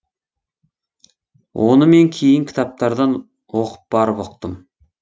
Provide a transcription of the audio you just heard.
оны мен кейін кітаптардан оқып барып ұқтым